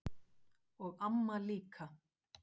Og amma líka.